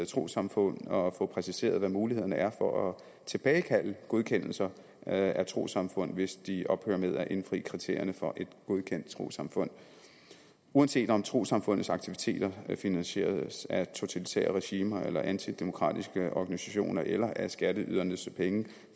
trossamfund og få præciseret hvad mulighederne er for at tilbagekalde godkendelser af trossamfund hvis de ophører med at indfri kriterierne for et godkendt trossamfund uanset om trossamfundets aktiviteter er finansieret af totalitære regimer eller antidemokratiske organisationer eller af skatteydernes penge